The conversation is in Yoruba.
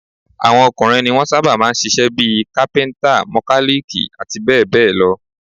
Àwọn ọkùnrin ní wọn sábà máa ń ń ṣiṣẹ́ bí i: kápíntà, mọkálíìkì, àti bẹ́ẹ̀ bẹ́ẹ̀ lọ